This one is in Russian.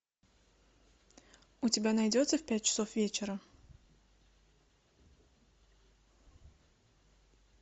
у тебя найдется в пять часов вечера